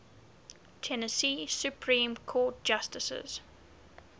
tennessee supreme court justices